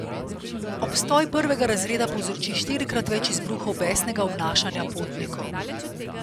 Obstoj prvega razreda povzroči štirikrat več izbruhov besnega obnašanja potnikov.